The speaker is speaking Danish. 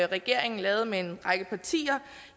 regeringen lavede med en række partier